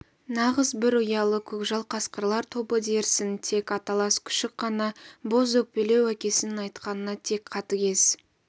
нағыз бір ұялы көкжал қасқырлар тобы дерсің тек аталас күшік қана бозөкпелеу әкесінің айтқанына тек қатігез